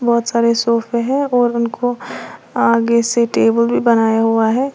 बहोत सारे सोफे है और उनको आगे से टेबल भी बनाया हुआ है।